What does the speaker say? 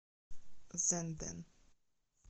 зенден